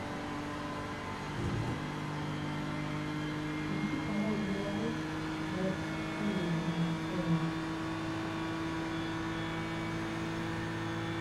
включи канал беларусь двадцать четыре на тв